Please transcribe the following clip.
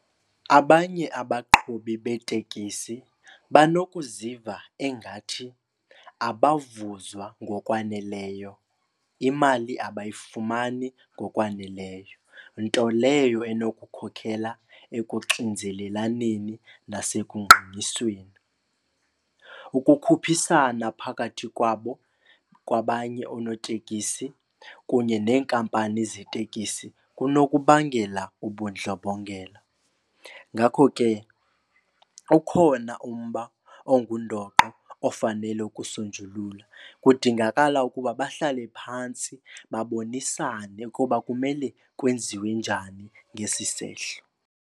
Abanye abaqhubi beetekisi banokuziva ingathi abavuzwa ngokwaneleyo, imali abayifumani ngokwaneleyo, nto leyo enokukhokhela ekuxinzelelaneni nasekungqalisweni. Ukukhuphisana phakathi kwabo kwabanye onotekisi kunye nenkampani zetekisi kunokubangela ubundlobongela, ngakho ke ukhona umba ongundoqo ofanele ukusonjululwa. Kudingakala ukuba bahlale phantsi babonisane ukuba kumele kwenziwe njani ngesi sehlo.